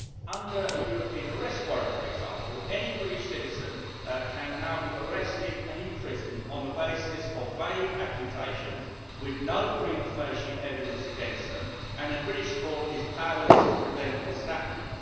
Under a European arrest warrant, for example, any British citizen can now be arrested and imprisoned on the basis of vague accusations, with no prima facie evidence against them, and a British court is powerless to prevent this happening.